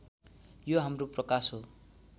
यो हाम्रो प्रकाश हो